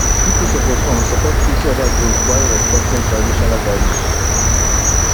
pipo suppose um support each oda goals while respecting traditional values